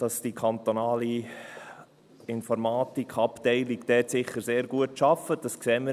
Dass die kantonale Informatikabteilung dort sicher sehr gut arbeitet, sehen wir.